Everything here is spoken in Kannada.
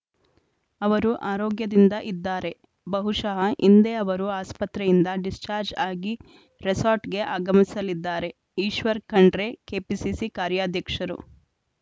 ಅವರು ಆರೋಗ್ಯದಿಂದ ಇದ್ದಾರೆ ಬಹುಶಃ ಇಂದೇ ಅವರು ಆಸ್ಪತ್ರೆಯಿಂದ ಡಿಸ್ಚಾರ್ಜ್ ಆಗಿ ರೆಸಾರ್ಟ್‌ಗೆ ಆಗಮಿಸಲಿದ್ದಾರೆ ಈಶ್ವರ್‌ ಖಂಡ್ರೆ ಕೆಪಿಸಿಸಿ ಕಾರ್ಯಾಧ್ಯಕ್ಷರು